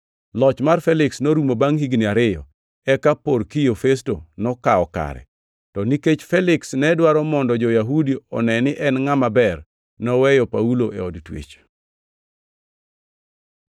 Loch mar Feliks norumo bangʼ higni ariyo, eka Porkio Festo nokawo kare. To nikech Feliks ne dwaro mondo jo-Yahudi one ni en ngʼama ber, noweyo Paulo e od twech.